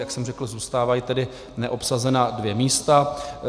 Jak jsem řekl, zůstávají tedy neobsazena dvě místa.